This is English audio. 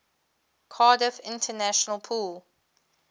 cardiff international pool